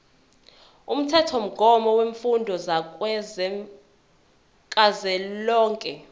umthethomgomo wemfundo kazwelonke